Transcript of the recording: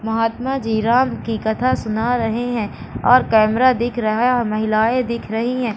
महात्मा जी राम की कथा सुना रहे हैं और कैमरा दिख रहा है और महिलाएं दिख रही हैं।